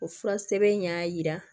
O fura sɛbɛn in y'a jira